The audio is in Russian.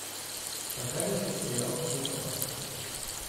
показывай сериал психопаспорт